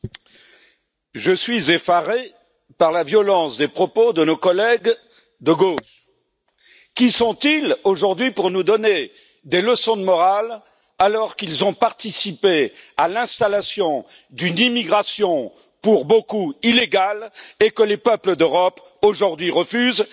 Madame la Présidente, je suis effaré par la violence des propos de nos collègues de gauche. Qui sont ils aujourd'hui pour nous donner des leçons de morale, alors qu'ils ont participé à l'installation d'une d'immigration pour beaucoup illégale et que les peuples d'Europe aujourd'hui refusent.